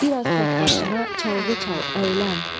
Biraz tək başına çalğı çal, əylən.